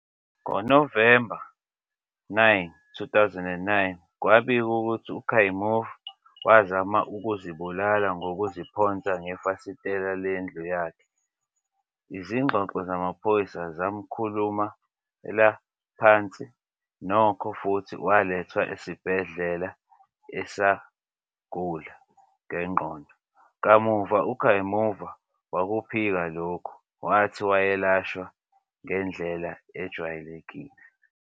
NgoNovemba 9, 2009, kwabikwa ukuthi uKayumov wazama ukuzibulala ngokuziphonsa ngefasitela lendlu yakhe. Izingxoxo zamaphoyisa zamkhulumela phansi, nokho, futhi walethwa esibhedlela sabagula ngengqondo. Kamuva uKayumov wakuphika lokhu, wathi wayelashwa ngendlela ejwayelekile.